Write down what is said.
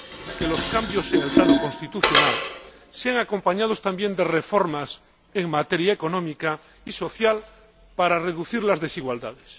que los cambios en el plano constitucional vayan acompañados también de reformas en materia económica y social para reducir las desigualdades.